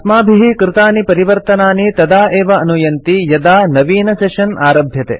अस्माभिः कृतानि परिवर्तनानि तदा एव अनुयन्ति यदा नवीनसेशन आरभ्यते